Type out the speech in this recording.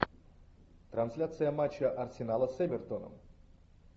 трансляция матча арсенала с эвертоном